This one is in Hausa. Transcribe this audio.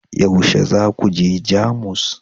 yaushe za ku je Jamus